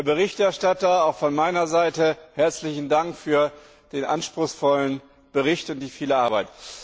Herr Berichterstatter, auch von meiner Seite herzlichen Dank für den anspruchsvollen Bericht und die viele Arbeit.